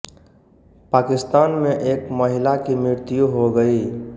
पाकिस्तान में एक महिला की मृत्यु हो गई